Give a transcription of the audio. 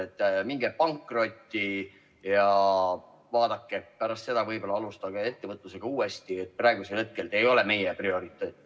Et minge pankrotti ja vaadake pärast seda, võib-olla alustate ettevõtlusega uuesti, praegusel hetkel te ei ole meie prioriteet?